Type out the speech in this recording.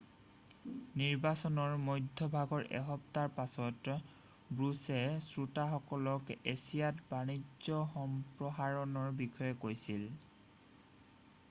নিৰ্বাচনৰ মধ্যভাগৰ এসপ্তাহৰ পাছত বুশ্বে শ্ৰোতাসকলক এছিয়াত বাণিজ্য সম্প্ৰসাৰণৰ বিষয়ে কৈছিল